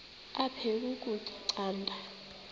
aphek ukutya canda